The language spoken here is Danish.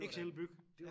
XL-byg